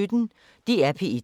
DR P1